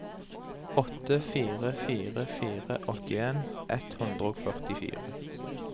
åtte fire fire fire åttien ett hundre og førtifire